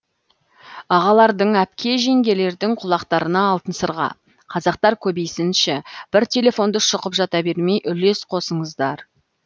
ағалардың әпке жеңгелердің құлақтарына алтын сырға қазақтар көбейсінші бір телефонды шұқып жата бермей үлес қосыңыздар